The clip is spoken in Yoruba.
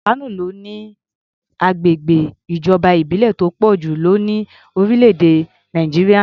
Kano ló ní agbègbè ìjọba ìbílẹ̀ tó pọ̀ jù lọ ní orílẹ̀-èdè Nàìjíríà.